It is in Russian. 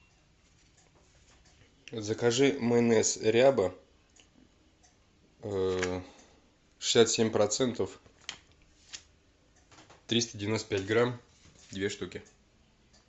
закажи майонез ряба шестьдесят семь процентов триста девяносто пять грамм две штуки